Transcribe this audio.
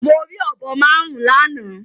Mo rí ọ̀bọ márùn-ún lánàá.